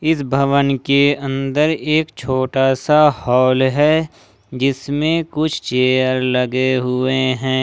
इस भवन के अंदर एक छोटा सा हाल है जिसमें कुछ चेयर लगे हुए हैं।